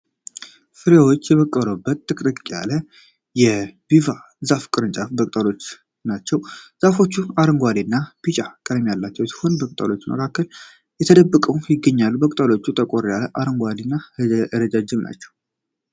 ፍሬዎች የበቀሉበት ጥቅጥቅ ያለ የጓቫ ዛፍ ቅርንጫፎችና ቅጠሎች ናቸው። ፍሬዎቹ አረንጓዴ እና ቢጫ ቀለም ያላቸው ሲሆኑ በቅጠሎቹ መካከል ተደብቀው ይገኛሉ። ቅጠሎቹ ጠቆር ያለ አረንጓዴ እና ረዣዥም ናቸው።